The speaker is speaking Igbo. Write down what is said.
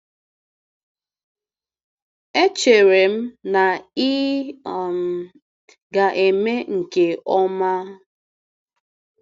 Echere m na ị um ga-eme nke ọma?